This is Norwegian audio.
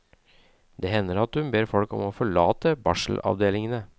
Det hender at hun ber folk om å forlate barselavdelingene.